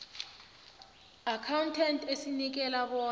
accountant esibeka bona